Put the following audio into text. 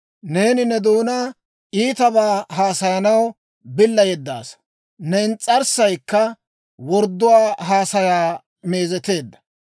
Neeni ne doonaa iitabaa haasayanaw billa yeddaasa. Ne ins's'arssaykka wordduwaa haasayaa meezeteedda.